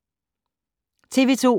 TV 2